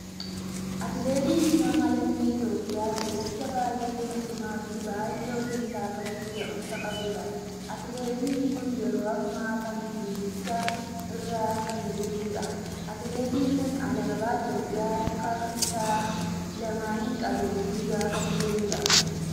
Atileetiin nama lammii Itoophiyaa fiigichaa baay'ee nama cimaa fi baay'ee hojii isaa irratti gahumsa qabuudha. Atileetii kun yeroo amma kana fiigicha irra kan jiruudha. Atileetiin kun alaabaa Itoophiyaa harkaa isaa lamaaniin qabee fiigaa kan jiruudha.